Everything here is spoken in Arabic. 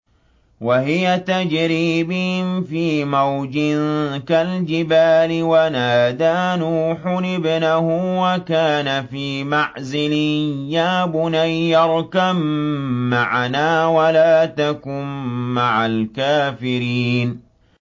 وَهِيَ تَجْرِي بِهِمْ فِي مَوْجٍ كَالْجِبَالِ وَنَادَىٰ نُوحٌ ابْنَهُ وَكَانَ فِي مَعْزِلٍ يَا بُنَيَّ ارْكَب مَّعَنَا وَلَا تَكُن مَّعَ الْكَافِرِينَ